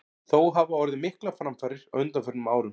Þó hafa orðið miklar framfarir á undanförnum árum.